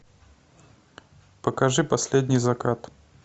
покажи последний закат